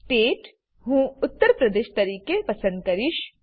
state હું ઉત્તર પ્રદેશ તરીકે પસંદ કરીશ